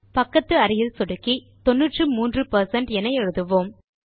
பக்கத்து அறையில் சொடுக்கி 93 பெர்சென்ட் என எழுதுவோம்